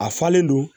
A falen don